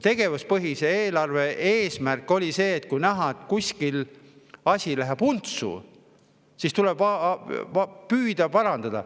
Tegevuspõhise eelarve eesmärk oli selline: kui on näha, et kuskil läheb asi untsu, siis tuleb püüda seda parandada.